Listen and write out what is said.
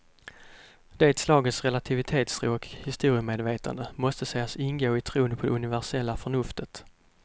Det slagets relativitetstro och historiemedvetande måste sägas ingå i tron på det universella förnuftet.